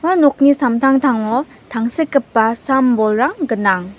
nokni samtangtango tangsekgipa sam-bolrang gnang.